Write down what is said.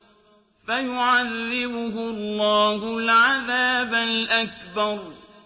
فَيُعَذِّبُهُ اللَّهُ الْعَذَابَ الْأَكْبَرَ